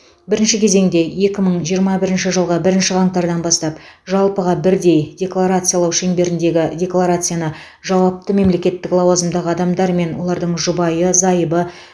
бірінші кезеңде екі мың жиырма бірінші жылғы бірінші қаңтардан бастап жалпыға бірдей декларациялау шеңберіндегі декларацияны жауапты мемлекеттік лауазымдағы адамдар мен олардың жұбайы зайыбы